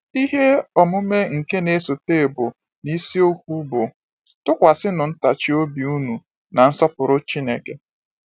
Ihe omume nke n'esote bụ n’isiokwu bụ́ “ Tụkwasịnụ Ntachi Obi Unu na Nsọpụrụ Chineke.”